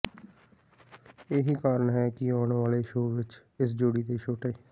ਇਹ ਹੀ ਕਾਰਨ ਹੈ ਕਿ ਆਉਣ ਵਾਲੇ ਸ਼ੋਅ ਵਿੱਚ ਇਸ ਜੋੜੀ ਦੇ ਛੋਟੇ